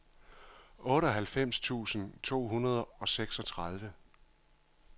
otteoghalvfems tusind to hundrede og seksogtredive